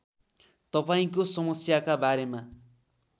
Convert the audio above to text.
तपाईँको समस्याका बारेमा